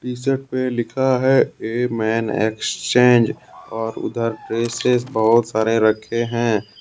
T shirt पे लिखा है ए मैन एक्सचेंज और उधर ड्रेसेस बहोत सारे रखे हैं।